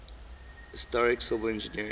historic civil engineering